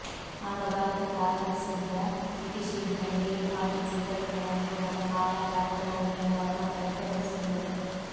ಆಗ ಭಾರತಕ್ಕೆ ಆಗಮಿಸಿದ್ದ ಬ್ರಿಟೀಷ್ ವಿಜ್ಞಾನಿ ಡೇವಿಡ್ ಹಾಕಿನ್ಸ್ ಇದರಿಂದ ನದಿ ಮೂಲಕ ಕಾಲಾರಾ ಹರಡಬಹುದು ಎಂಬ ಅನುಮಾನ ವ್ಯಕ್ತಪಡಿಸಿದ್ದರು